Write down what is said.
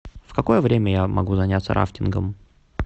в какое время я могу заняться рафтингом